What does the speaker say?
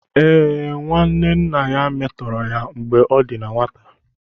Ee, nwanne nna ya metọrọ ya mgbe ọ dị na nwata.